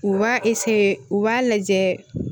U b'a u b'a lajɛ